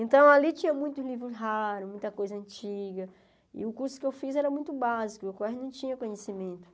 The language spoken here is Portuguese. Então, ali tinha muitos livros raros, muita coisa antiga, e o curso que eu fiz era muito básico, eu quase não tinha conhecimento.